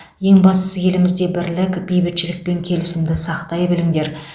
ең бастысы елімізде бірлік бейбітшілік пен келісімді сақтай біліңдер